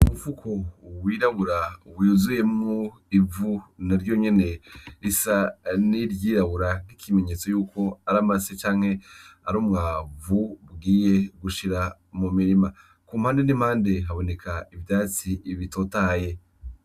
Umufuko wirabura wuzuyemwo ivu naryo nyene risa ni iryirabura, ikimenyetso yuko ari amase canke ari umwavu ugiye gushira mu mirima. Ku mpande n'impande, haboneka ivyatsi bitotaye.